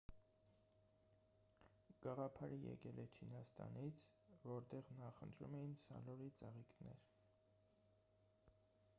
գաղափարը եկել է չինաստանից որտեղ նախընտրում էին սալորի ծաղիկներ